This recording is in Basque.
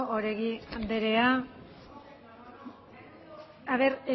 oregi andrea a ver